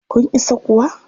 Kun isa kuwa?